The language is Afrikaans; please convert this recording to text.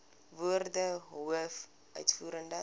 woorde hoof uitvoerende